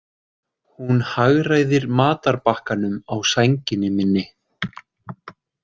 Hún hagræðir matarbakkanum á sænginni minni.